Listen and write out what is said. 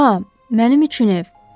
Aa, mənim üçün ev.